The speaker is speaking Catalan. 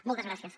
moltes gràcies